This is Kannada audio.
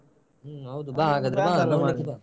ಹ್ಮ್ ಹೌದು ಹಾಗಾದ್ರೆ ಬಾ ground ಗೆ ಬಾ.